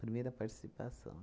Primeira participação.